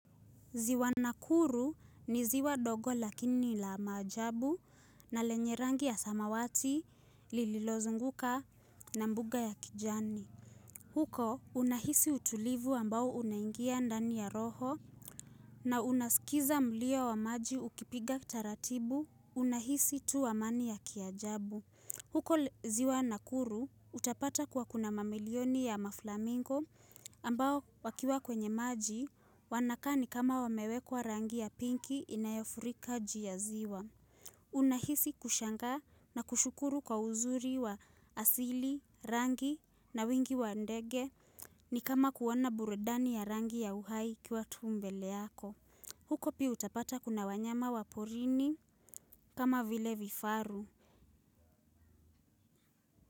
Ziwa nakuru ni ziwa dogo lakini la maajabu na lenye rangi ya samawati lililozunguka na mbuga ya kijani. Huko unahisi utulivu ambao unaingia ndani ya roho na unasikiza mlio wa maji ukipiga taratibu unahisi tu amani ya kiajabu. Huko ziwa nakuru utapata kuwa kuna mamilioni ya maflamingo ambao wakiwa kwenye maji wanakaa ni kama wamewekwa rangi ya pinki inayofurika juu ya ziwa. Unahisi kushangaa na kushukuru kwa uzuri wa asili, rangi na wingi wa ndege ni kama kuona burudani ya rangi ya uhai ikiwa tu mbele yako. Huko pia utapata kuna wanyama wa porini kama vile vifaru.